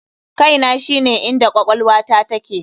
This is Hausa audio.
KAINA shine inda kwakwalwata take.